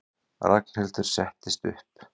Ragnhildur settist upp.